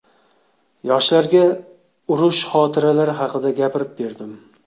Yoshlarga urush xotiralari haqida gapirib berdim.